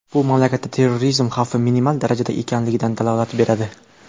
Bu mamlakatda terrorizm xavfi minimal darajada ekanligidan dalolat beradi.